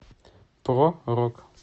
про рок